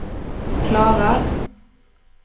klarar